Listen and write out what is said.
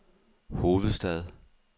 hovedstad